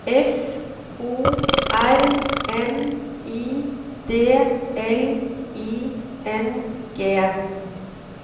F O R M I D L I N G